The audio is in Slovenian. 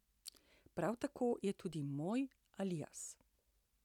Prav tako je to tudi moj alias.